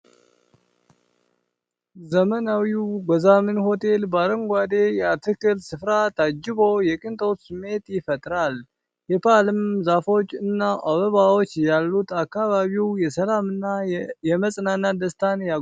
ዘመናዊው ጎዛመን ሆቴል በአረንጓዴ የአትክልት ስፍራ ታጅቦ የቅንጦት ስሜት ይፈጥራል። የፓልም ዛፎች እና አበባዎች ያሉት አካባቢው የሰላምና የመጽናናት ደስታን ያጎናጽፋል።